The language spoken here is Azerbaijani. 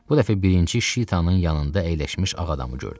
Bu dəfə birinci Şitanın yanında əyləşmiş ağ adamı gördü.